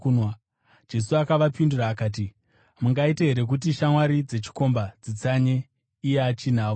Jesu akavapindura akati, “Mungaite here kuti shamwari dzechikomba dzitsanye iye achinavo?